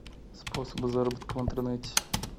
способы заработка в интернете